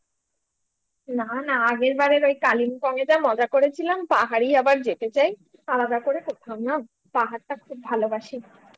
না না আগের বারের ওই Kalimpong এ যা মজা করেছিলাম পাহাড়েই আবার যেতে চাই আলাদা করে কোথাও না পাহাড়টা খুব ভালোবাসি